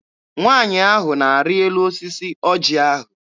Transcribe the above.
Nwaanyị ahụ na-arị elu osisi ọjị ahụ.